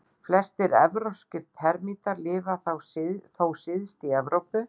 Flestir evrópskir termítar lifa þó syðst í Evrópu.